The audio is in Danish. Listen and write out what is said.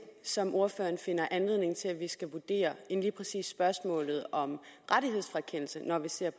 som ordføreren finder anledning til at vi skal vurdere end lige præcis spørgsmålet om rettighedsfrakendelse når vi ser